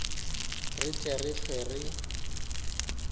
re tle re hlwe re